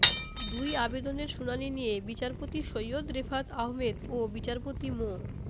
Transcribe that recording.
দুই আবেদনের শুনানি নিয়ে বিচারপতি সৈয়দ রেফাত আহমেদ ও বিচারপতি মো